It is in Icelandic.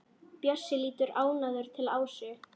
Bjössi lítur ánægður til Ásu.